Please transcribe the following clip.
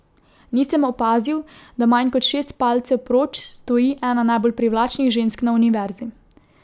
Nisem opazil, da manj kot šest palcev proč stoji ena najbolj privlačnih žensk na Univerzi.